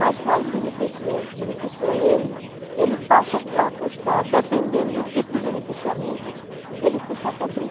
Mas quando beneficia ele, ele passa a custar, dependendo do tipo de beneficiamento, ele custa até